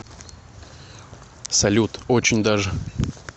салют очень даже